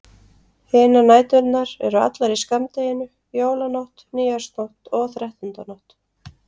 Hinar næturnar eru allar í skammdeginu: Jólanótt, nýársnótt og þrettándanótt.